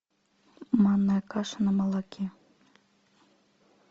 манная каша на молоке